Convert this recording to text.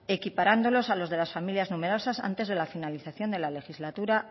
equiparándolos a los de las familias numerosas antes de la finalización de la legislatura